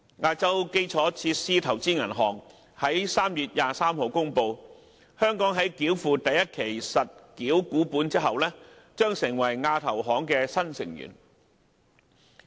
亞洲基礎設施投資銀行於3月23日公布，香港在繳付第一期實繳股本後，將成為亞投行的新成員。